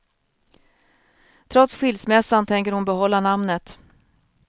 Trots skilsmässan tänker hon behålla namnet.